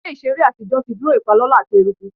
Ile iṣere atijọ ti duro ipalọlọ ati eruku